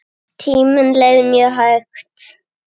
Tíminn leið mjög hægt.